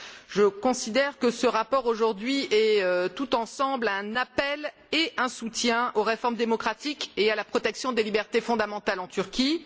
Je considère que ce rapport est, tout ensemble, un appel et un soutien aux réformes démocratiques et à la protection des libertés fondamentales en Turquie.